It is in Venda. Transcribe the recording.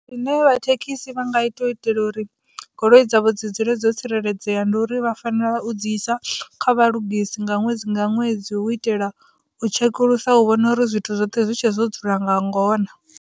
Zwine vhathekhisi vha nga ita u itela uri goloi dzavho dzi dzule dzo tsireledzea ndi uri vha fanela u dzi isa kha vhalugisi nga ṅwedzi nga ṅwedzi u itela u tshekulusa u vhona uri zwithu zwoṱhe zwi tshe zwo dzula nga ngona.